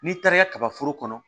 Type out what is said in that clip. N'i taara kaba foro kɔnɔ